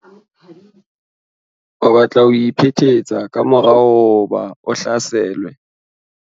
o batla ho iphetetsa ka mora hoba a hlaselwe